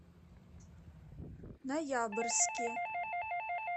ноябрьске